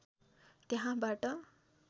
त्यहाँबाट